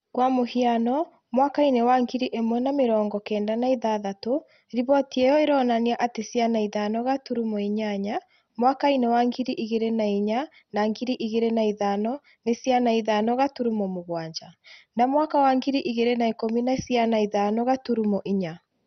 Kwa mũhiano, mwaka-inĩ wa ngiri ĩmwe na mĩrongo kenda na ĩtandatũ, riboti ĩyo ĩronania atĩ ciana ithano gaturuma inyanya , mwaka-inĩ wa ngiri igĩri na inya na ngiri igĩri na ithano nĩ ciana ithano gaturuma mũgwanja , na mwaka wa ngiri igĩri na ikũmi nĩ ciana ithano gaturuma inya